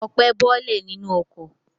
Ọpẹ́ bọ́lẹ̀ nínú ọkọ̀.